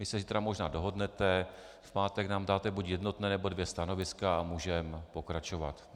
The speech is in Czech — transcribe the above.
Vy se zítra možná dohodnete, v pátek nám dáte buď jednotné, nebo dvě stanoviska a můžeme pokračovat.